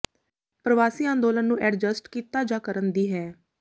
ਪ੍ਰਵਾਸੀ ਅੰਦੋਲਨ ਨੂੰ ਐਡਜਸਟ ਕੀਤਾ ਜਾ ਕਰਨ ਦੀ ਹੈ